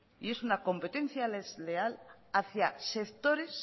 y es una competencia desleal hacia sectores